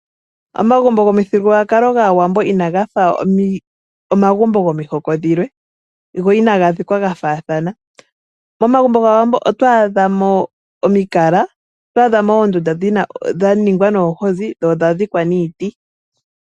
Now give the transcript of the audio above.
Omagumbo gomi thigululwakakolo gaawambo ina gafa omagumbo gomihoko dhilwe, go ina gadhikwa gafaahana, momagumbo gaawambo ot o adhamo omikala, noondunda dhaningwa noohozi, dho odha dhikwa niiti.